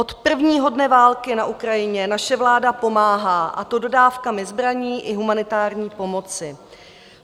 Od prvního dne války na Ukrajině naše vláda pomáhá, a to dodávkami zbraní i humanitární pomoci.